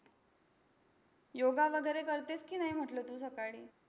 योगा वगैरे करतेस की नाही म्हटलं तू सकाळी?